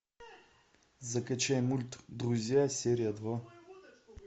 закачай мульт друзья серия два